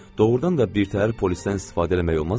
Doğrudan da birtəhər polislə istifadə eləmək olmazmı?